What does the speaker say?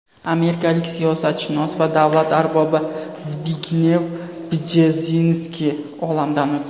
Amerikalik siyosatshunos va davlat arbobi Zbignev Bjezinskiy olamdan o‘tdi.